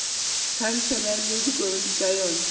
khansele le dikomiti tša yona